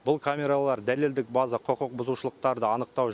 бұл камералар дәлелдік база құқық бұзушылықтарды анықтау